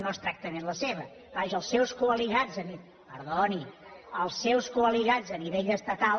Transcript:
no exactament la seva vaja els seus coaliats perdoni els seus coaliats a nivell estatal